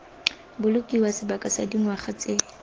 bolokiwa sebaka sa dingwaga tse